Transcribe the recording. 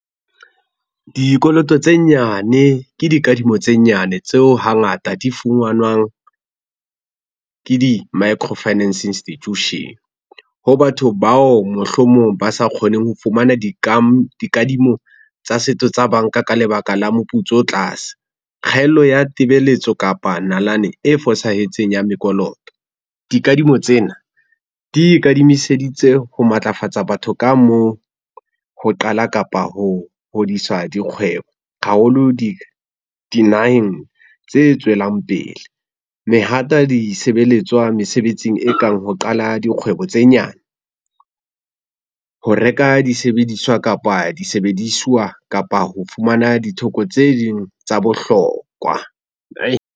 Dikoloto tse nyane ke dikadimo tse nyane tseo hangata di funganwang, ke di-Micro Finance Institution. Ho batho bao mohlomong ba sa kgoneng ho fumana dikadimo tsa setso tsa banka ka lebaka la moputso o tlase. Kgaello ya tebeletso kapa nalane e fosahetseng ya mekoloto. Dikadimo tsena di ikadimiseditse ho matlafatsa batho ka moo ho qala kapa ho hodiswa dikgwebo haholo dinaheng tse tswelang pele. Mehata disebeletswa mesebetsing e kang ho qala dikgwebo tse nyane, ho reka disebediswa kapa disebediswa kapa ho fumana ditheko tse ding tsa bohlokwa .